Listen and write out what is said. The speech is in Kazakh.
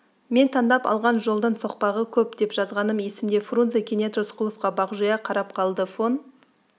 мен таңдап алған жолдың соқпағы көп деп жазғаным есімде фрунзе кенет рысқұловқа бағжия қарап қалды фон